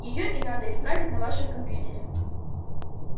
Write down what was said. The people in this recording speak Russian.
её и надо исправить на вашем компьютере